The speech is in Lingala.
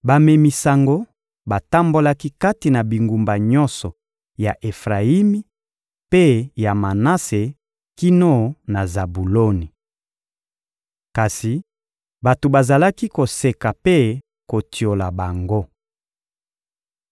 Bamemi sango batambolaki kati na bingumba nyonso ya Efrayimi mpe ya Manase kino na Zabuloni. Kasi bato bazalaki koseka mpe kotiola bango.